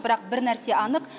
бірақ бір нәрсе анық